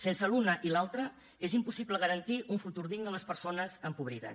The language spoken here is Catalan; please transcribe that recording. sense l’una i l’altra és impossible garantir un futur digne a les persones empobrides